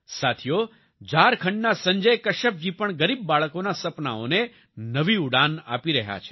સાથીઓ ઝારખંડના સંજય કશ્યપ જી પણ ગરીબ બાળકોના સપનાંઓને નવી ઉડાન આપી રહ્યા છે